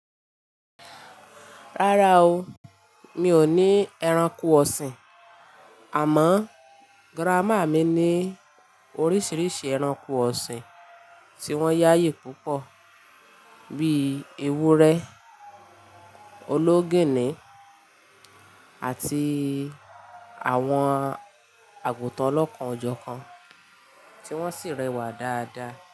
Rárá o, mi ò ní ẹranko ọ̀sìn, àmọ́ grammar mi ní oríṣiríṣi ẹranko ọ̀sìn tí wọ́n yáyì púpọ̀ bíi ewúrẹ́, ológìnní àti àwọn àgùtàn ọlọ́kan-jọkan tí wọ́n sì rẹwà dáadáa.